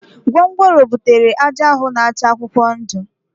Ngwongworo butere ájá ahụ na-acha akwụkwọ ndụ